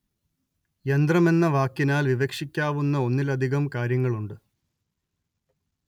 യന്ത്രം എന്ന വാക്കിനാല്‍ വിവക്ഷിക്കാവുന്ന ഒന്നിലധികം കാര്യങ്ങളുണ്ട്